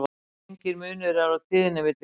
Enginn munur er á tíðni milli kynþátta.